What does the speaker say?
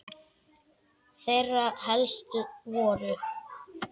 Þeirra helst voru